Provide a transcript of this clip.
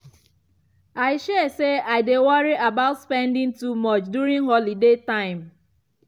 i share say i dey worry about spending too much during holiday time.